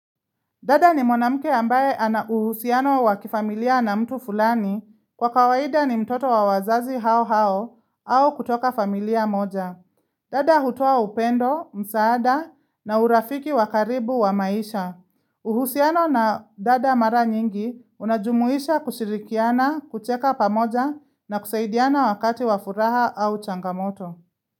Dada ni mwanamke ambaye ana uhusiano wa kifamilia na mtu fulani kwa kawaida ni mtoto wa wazazi hao hao au kutoka familia moja. Dada hutoa upendo, msaada na urafiki wa karibu wa maisha. Uhusiano na dada mara nyingi unajumuisha kushirikiana, kucheka pamoja na kusaidiana wakati wa furaha au changamoto.